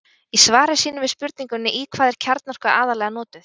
Í svari sínu við spurningunni Í hvað er kjarnorka aðallega notuð?